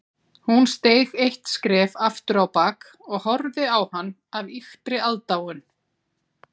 Hún steig eitt skref afturábak og horfði á hann af ýktri aðdáun